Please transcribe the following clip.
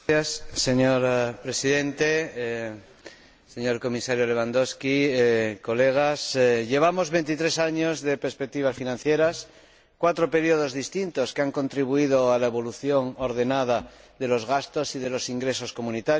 Señor Presidente, señor Comisario Lewandowski, colegas, llevamos veintitrés años de perspectivas financieras, cuatro períodos distintos que han contribuido a la evolución ordenada de los gastos y de los ingresos comunitarios.